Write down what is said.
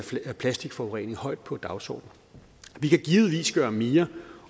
af plastikforurening højt på dagsordenen vi kan givetvis gøre mere